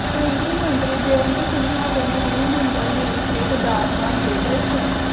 ਕੇਂਦਰੀ ਮੰਤਰੀ ਜੈਅੰਤ ਸਿਨਹਾ ਤੇ ਨਵੀਨ ਜਿੰਦਲ ਨੇ ਕੀਤੇ ਕੇਦਾਰਨਾਥ ਦੇ ਦਰਸ਼ਨ